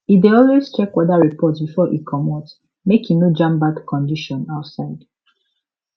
e dey always check weather report before e comot make e no jam bad condition outside